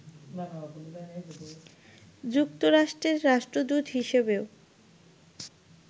যুক্তরাষ্ট্রের রাষ্ট্রদূত হিসেবেও